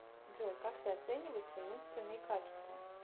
джой как ты оцениваешь свои умственные качества